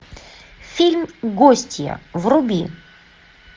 фильм гостья вруби